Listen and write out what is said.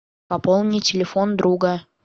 пополни телефон друга